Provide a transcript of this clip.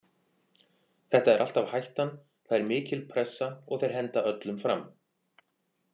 Þetta er alltaf hættan, það er mikil pressa og þeir henda öllum fram.